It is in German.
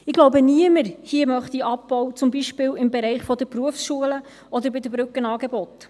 Ich glaube, niemand hier möchte einen Abbau, zum Beispiel im Bereich der Berufsschulen oder bei den Brückenangeboten.